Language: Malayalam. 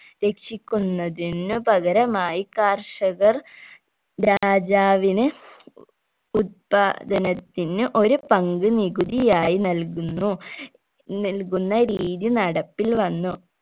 രക്ഷിക്കുന്നതിനു പകരമായി കർഷകർ രാജാവിന് ഉത്പാദനത്തിന് ഒരു പങ്ക് നികുതിയായി നൽകുന്നു നൽകുന്ന രീതി നടപ്പിൽ വന്നു